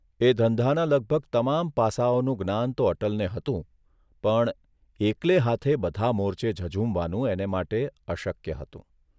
એ ધંધાના લગભગ તમામ પાસાઓનું જ્ઞાન તો અટલને હતું, પણ એકલે હાથે બધા મોરચે ઝઝૂમવાનું એને માટે અશક્ય હતું.